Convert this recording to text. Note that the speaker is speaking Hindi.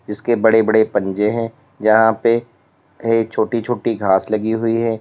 इसके बड़े बड़े पंजे हैं जहां पे छोटी छोटी घास लगी हुई है।